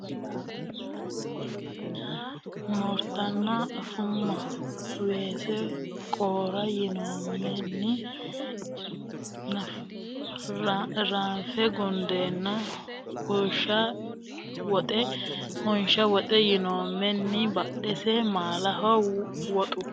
haxe yinoommenni Assumma assumma Haxanxare yinoommenni Awuyyi baabba ya Haqqu moola yinoommenni Moortanna afumma Weese qoora yinoommenni Moorise saalaho Qoora qoxe yinoommenni Ga ranfe gundeenna Unsha woxe yinoommenni Badhese maalaho Woxu.